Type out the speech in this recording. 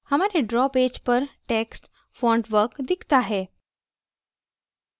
हमारे draw page पर text fontwork दिखता है